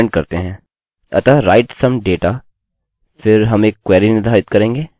अतः write some data फिर हम एक क्वेरी निर्धारित करेंगे जो डेटा लिखेगा